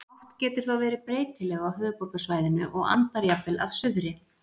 Átt getur þá verið breytileg á höfuðborgarsvæðinu og andar jafnvel af suðri.